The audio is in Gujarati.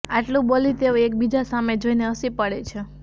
આટલું બોલી તેઓ એકબીજા સામે જોઇને હસી પડે છે